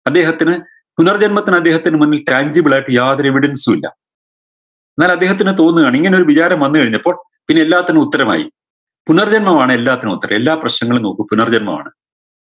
അദ്ദേഹത്തിന് പുനർജന്മത്തിന് അദ്ദേഹത്തിന് മുന്നിൽ trangible ആയിട്ട് യാതൊരു evidence ഉ ഇല്ല ന്നാൽ അദ്ദേഹത്തിന് തോന്നു ആണ് ഇങ്ങനൊരു വിചാരം വന്നു കഴിഞ്ഞപ്പോൾ പിന്നെ എല്ലാത്തിനും ഉത്തരമായി പുനർജന്മമാണ് എല്ലാത്തിനും ഉത്തരം എല്ലാ പ്രശ്നങ്ങളും നോക്കൂ പുനർജന്മമാണ്